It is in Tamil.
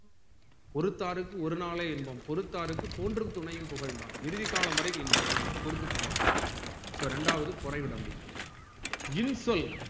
ஒருத்தார்க்கு ஒருநாளே இன்பம் பொருதாற்கு போன்றும் துணையும் புகழ்ன்றான் இறுதி காலம் வரை இன்பம் பொருத்து போறவங்க so இரெண்டாவது பொறையுடைமை இன்சொல்